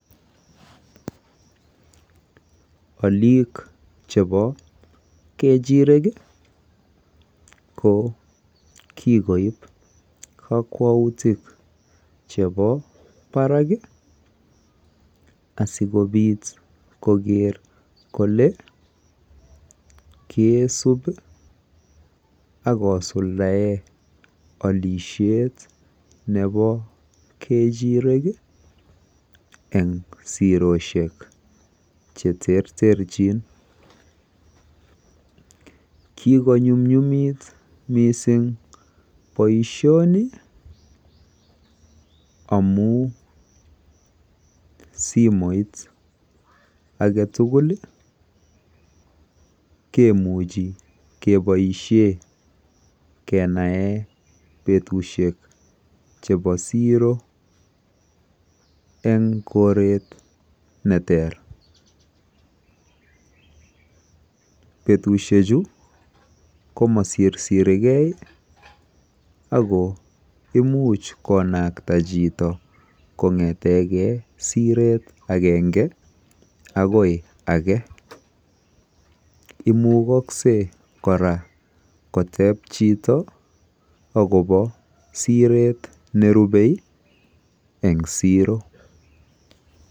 Alik chebo kechireek ii ko kikoob kakwautiik chebo Barak ii asikobiit koger kole kakisuup ako suldaen alisheet nebo kechirek ii eng sirorosiek che terterjiin Kiko nyumnyumit missing boisioni amuun simoit age tugul ii kemuchii kebaisheen kenaen betusiek chebo siroo eng koreet ne teer betusiek chuu koma sisirigei ako imuuch konaktaa chitoo kongetegei sireet agengee agoi age imukaksei kora koteeb chitoo agobo sireet nerupe eng siroo.